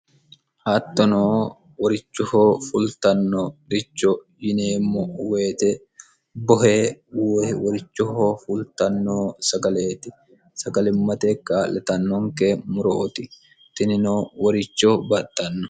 hattono worichohoo fultanno richo yineemmo woyite bohe woy worichohoo fultanno sagaleeti sagalimmate ka'litannonke murooti tinino woricho baxxanno